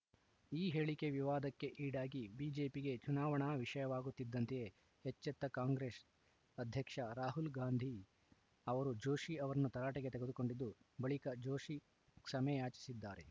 ಈ ಹೇಳಿಕೆ ವಿವಾದಕ್ಕೆ ಈಡಾಗಿ ಬಿಜೆಪಿಗೆ ಚುನಾವಣಾ ವಿಷಯವಾಗುತ್ತಿದ್ದಂತೆಯೇ ಎಚ್ಚೆತ್ತ ಕಾಂಗ್ರೆಸ್‌ ಅಧ್ಯಕ್ಷ ರಾಹುಲ್‌ ಗಾಂಧಿ ಅವರು ಜೋಶಿ ಅವರನ್ನು ತರಾಟೆಗೆ ತೆಗೆದುಕೊಂಡಿದ್ದು ಬಳಿಕ ಜೋಶಿ ಕ್ಷಮೆಯಾಚಿಸಿದ್ದಾರೆ